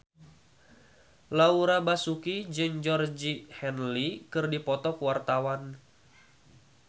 Laura Basuki jeung Georgie Henley keur dipoto ku wartawan